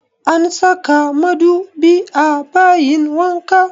An saka madubi a bayin wanka